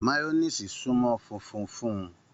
Mayọniisi sunmọ fúnfún fún